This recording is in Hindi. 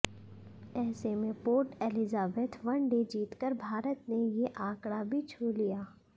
ऐसे में पोर्ट एलिजाबेथ वनडे जीतकर भारत ने ये आंकड़ा भी छू लिया